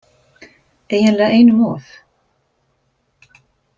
Eiginlega einum of